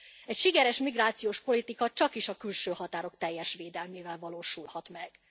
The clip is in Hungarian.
Egy sikeres migrációs politika csakis a külső határok teljes védelmével valósulhat meg.